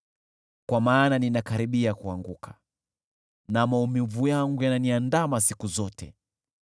Kwa maana ninakaribia kuanguka, na maumivu yangu yananiandama siku zote.